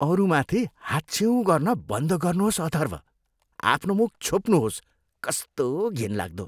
अरूमाथि हाच्छिउँ गर्न बन्द गर्नुहोस् अथर्भ। आफ्नो मुख छोप्नुहोस्। कस्तो घिनलाग्दो!